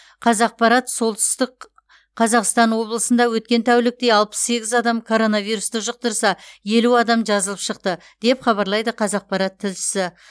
қазақпарат солтүстік қазақстан облысында өткен тәулікте алпыс сегіз адам коронавирусты жұқтырса елу адам жазылып шықты деп хабарлайды қазақпарат тілшісі